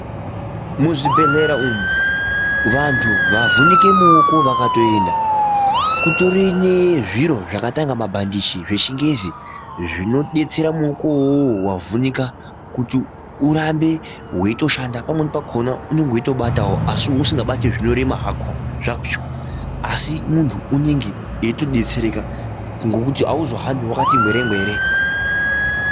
Muzvibhehlera umu, vanhu vakavhunike muoko vakatoenda kutori nezviro zvakatanga mabhandichi zvichingezi zvinodetsera muoko iwowo wavhunika kuti urambe weitoshanda. Pamweni pakhona unenge weitobatawo asi usingabati zvinorema zvacho asi munhu unenge eitodetsereka ngekuti auzohambi wakati ngwere-ngwere.